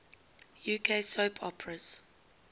uk soap operas